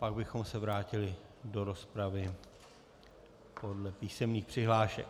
Pak bychom se vrátili do rozpravy podle písemných přihlášek.